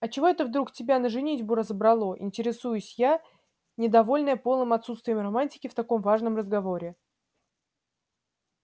а чего это вдруг тебя на женитьбу разобрало интересуюсь я недовольная полным отсутствием романтики в таком важном разговоре